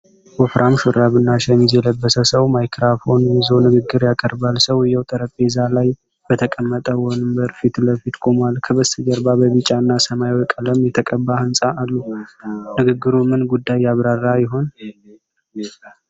ወፍራም ሹራብ እና ሸሚዝ የለበሰ ሰው ማይክሮፎን ይዞ ንግግር ያቀርባል። ሰውዬው ጠረጴዛ ላይ በተቀመጠ ወንበር ፊት ለፊት ቆሟል። ከበስተጀርባ በቢጫ እና ሰማያዊ ቀለም የተቀባ ሕንጻ አሉ። ንግግሩ ምን ጉዳይ ያብራራ ይሆን?